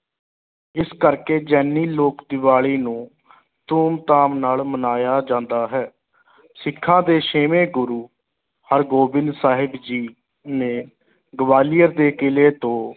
ਇਸ ਕਰਕੇ ਜੈਨੀ ਲੋਕ ਦੀਵਾਲੀ ਨੂੰ ਧੂਮ ਧਾਮ ਨਾਲ ਮਨਾਇਆ ਜਾਂਦਾ ਹੈ ਸਿੱਖਾਂ ਦੇ ਛੇਵੇਂ ਗੁਰੂ ਹਰਿਗੋਬਿੰਦ ਸਾਹਿਬ ਜੀ ਨੇ ਗਵਾਲੀਅਰ ਦੇ ਕਿਲ੍ਹੇ ਤੋਂ